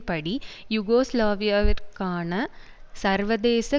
படி யூகோஸ்லாவியாவிற்கான சர்வதேச